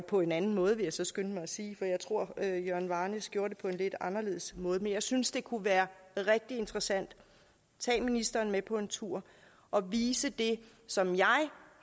på en anden måde vil jeg så skynde mig at sige for jeg tror at jørgen varnæs gjorde det på en lidt anderledes måde men jeg synes det kunne være rigtig interessant at tage ministeren med på en tur og vise det som jeg